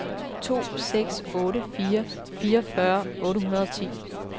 to seks otte fire fireogfyrre otte hundrede og ti